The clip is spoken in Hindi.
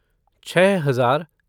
छः हजार